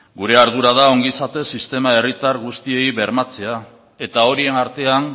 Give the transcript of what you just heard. gure ardura da ongizate sistema herritar guztiei bermatzea eta horien artean